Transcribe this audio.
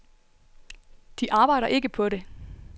De arbejder ikke på det.